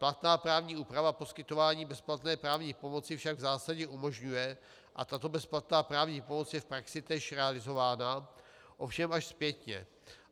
Platná právní úprava poskytování bezplatné právní pomoci však v zásadě umožňuje a tato bezplatná právní pomoc je v praxi též realizována, ovšem až zpětně.